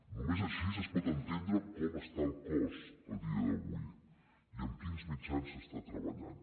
només així es pot entendre com està el cos a dia d’avui i amb quins mitjans està treballant